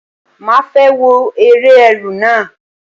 Màá fẹ́ wo eré Ẹ̀rù náà.